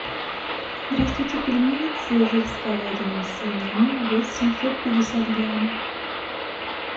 здравствуйте пельмени цезарь с говядиной и свининой вес семьсот пятьдесят грамм